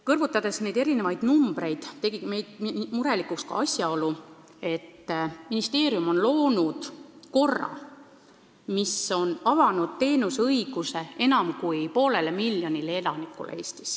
Kõrvutades asjaomaseid numbreid, tegi mind murelikuks ka see, et ministeerium on loonud korra, mis võimaldab osutada teenust enam kui poolele miljonile Eesti elanikule.